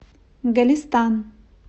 голестан